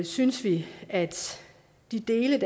synes vi at de dele